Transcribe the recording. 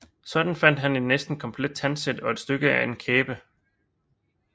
Sådan fandt han et næsten komplet tandsæt og et stykke af en kæbe